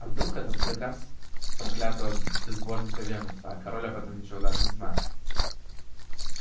а вдруг этот приказ проклятого безбожника венуса а король об этом ничего даже не знает